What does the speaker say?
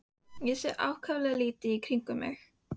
Ég sé ákaflega lítið í kringum mig.